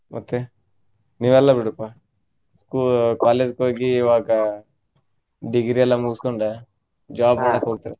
ಮತ್ತೆ ನೀವೆಲ್ಲಾ ಬಿಡಿಪಾ schoo~ college ಕ್ ಹೋಗಿ ಇವಾಗ degree ಎಲ್ಲಾ ಮುಗಸ್ಕೊಂಡ ಹೋಗ್ತಿರಿ.